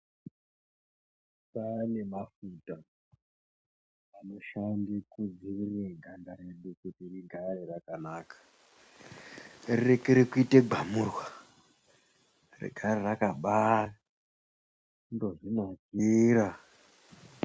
Kwaane mafuta anoshande kudzivirira ganda redu kuti rigare rakanaka, rirekere kuite bhamurwa, rigare rakamba ndozvinakira.